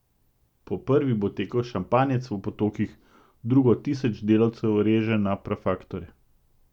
Po prvi bo tekel šampanjec v potokih, drugo tisoč delavcev reže na prafaktorje ...